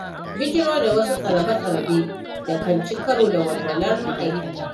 Bijiro da wasu tsarabe-tsarabe da kan ci karo da walwalar ma'aikata.